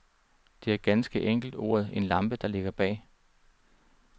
Det er ganske enkelt ordet en lampe, der ligger bag.